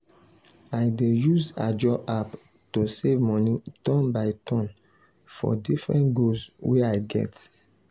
i dey use ajo app to save money turn by turn for different goals wey i get.